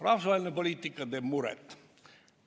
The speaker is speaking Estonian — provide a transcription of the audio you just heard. Rahvusvaheline poliitika teeb muret.